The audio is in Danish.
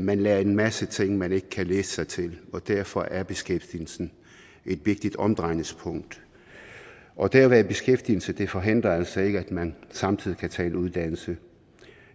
man lærer en masse ting man ikke kan læse sig til derfor er beskæftigelsen et vigtigt omdrejningspunkt og det at være i beskæftigelse forhindrer altså ikke at man samtidig kan tage en uddannelse